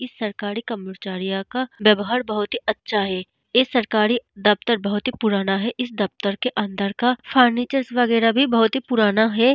इस सरकारी कर्मचारी का व्यवहार बहुत ही अच्छा है ऐ सरकारी दफ्तर बहुत ही पुरना है इस दफ्तर के अंदर का फर्नीचर वैगरह भी बहुत ही पुरना है।